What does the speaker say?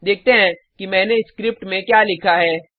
देखते हैं कि मैंने इस स्क्रिप्ट में क्या लिखा है